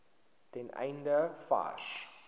ten einde vars